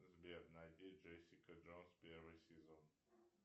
сбер найди джессика джонс первый сезон